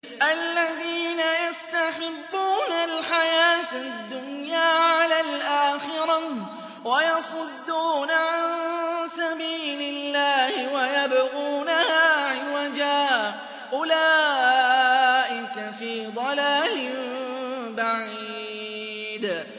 الَّذِينَ يَسْتَحِبُّونَ الْحَيَاةَ الدُّنْيَا عَلَى الْآخِرَةِ وَيَصُدُّونَ عَن سَبِيلِ اللَّهِ وَيَبْغُونَهَا عِوَجًا ۚ أُولَٰئِكَ فِي ضَلَالٍ بَعِيدٍ